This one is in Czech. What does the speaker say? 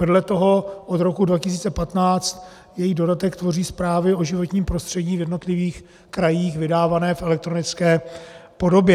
Vedle toho od roku 2015 její dodatek tvoří zprávy o životním prostředí v jednotlivých krajích vydávané v elektronické podobě.